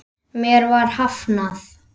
Mér var hafnað.